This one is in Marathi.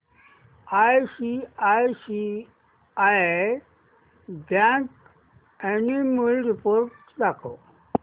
आयसीआयसीआय बँक अॅन्युअल रिपोर्ट दाखव